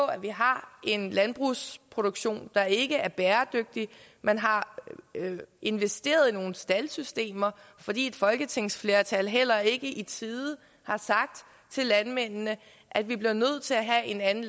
at vi har en landbrugsproduktion der ikke er bæredygtig man har investeret i nogle staldsystemer fordi et folketingsflertal heller ikke i tide har sagt til landmændene at vi bliver nødt til at have en anden